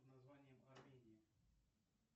под названием армения